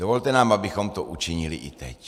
Dovolte nám, abychom to učinili i teď.